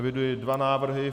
Eviduji dva návrhy.